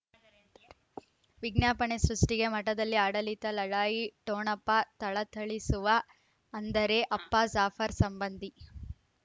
ವಿಜ್ಞಾಪನೆ ಸೃಷ್ಟಿಗೆ ಮಠದಲ್ಲಿ ಆಡಳಿತ ಲಢಾಯಿ ಠೊಣಪ ಥಳಥಳಿಸುವ ಅಂದರೆ ಅಪ್ಪ ಜಾಫರ್ ಸಂಬಂಧಿ